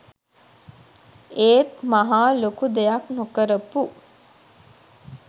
ඒත් මහා ලොකු දෙයක් නොකරපු